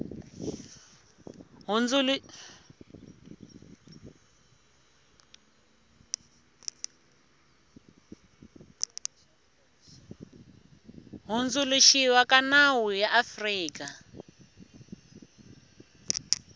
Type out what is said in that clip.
hundzuluxiwa ka nawu ya afrika